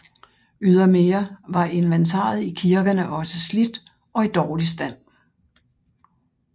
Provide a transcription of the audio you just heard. Ydermere var inventaret i kirkerne også slidt og i dårlig stand